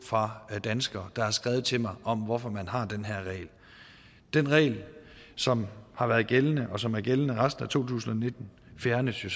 fra danskere der har skrevet til mig og spurgt hvorfor man har den her regel den regel som har været gældende og som er gældende resten af to tusind og nitten fjernes jo